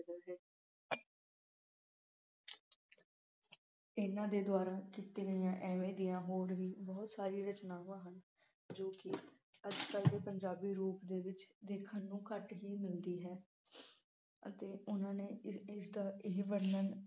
ਇਨ੍ਹਾਂ ਦੇ ਦੁਆਰਾ ਕੀਤੀ ਗਈਆਂ ਐਵੇਂ ਦੀਆਂ ਹੋਰ ਵੀ ਬਹੁਤ ਸਾਰੀਆਂ ਰਚਨਾਵਾਂ ਹਨ ਜੋ ਕਿ ਅੱਜ ਕੱਲ ਦੇ ਪੰਜਾਬੀ ਰੂਪ ਦੇ ਵਿਚ ਦੇਖਣ ਨੂੰ ਘੱਟ ਹੀ ਮਿਲਦੀ ਹੈ ਅਤੇ ਉਨ੍ਹਾਂ ਨੇ ਇਸ ਦਾ ਇਹ ਵਰਣਨ